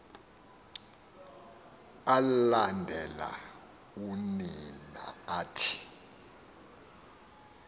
alandela oonina athi